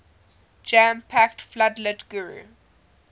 jam packed floodlit guru